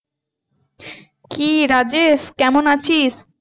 কি রাজেশ কেমন আছিস?